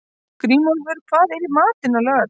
Grímólfur, hvað er í matinn á laugardaginn?